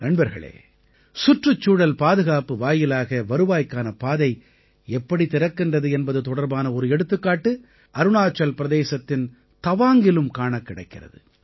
நண்பர்களே சுற்றுச்சூழல் பாதுகாப்பு வாயிலாக வருவாய்க்கான பாதை எப்படி திறக்கின்றது என்பது தொடர்பான ஒரு எடுத்துக்காட்டு அருணாச்சல் பிரதேசத்தின் தவாங்கிலும் காணக்கிடைக்கிறது